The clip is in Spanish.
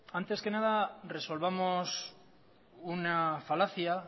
antes que nada resolvamos una falacia